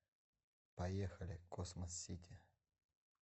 поехали космос сити